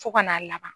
Fo ka n'a laban